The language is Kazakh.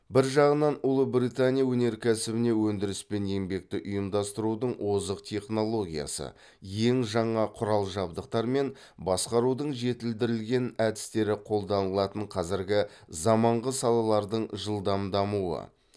бір жағынан ұлыбритания өнеркәсібіне өндіріс пен еңбекті ұйымдастырудың озық технологиясы ең жаңа құрал жабдықтар мен басқарудың жетілдірілген әдістері қолданылатын қазіргі заманғы салалардың жылдам дамуы